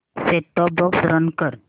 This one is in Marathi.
सेट टॉप बॉक्स रन कर